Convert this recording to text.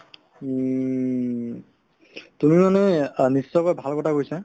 উম, তুমি মানে অ নিশ্চয়কৈ ভাল কথা কৈছা